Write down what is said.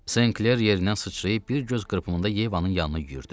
St. Kler yerindən sıçrayıb bir göz qırpımında Yevanın yanına yüyürdü.